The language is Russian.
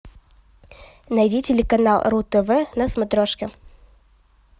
найди телеканал ру тв на смотрешке